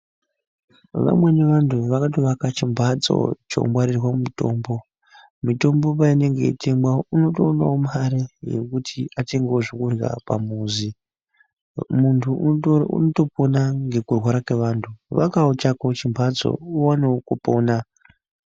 Vamweni vantu vakatovaka chimhatso chongwarirwa mutombo. Mitombo peinenge ichitengwa unotoonawo mare yekuti atengewo zvekurya pamuzi. Muntu unotopona ngekurwara kwevantu. Vakawo chako chimhatso uwanewo kupona.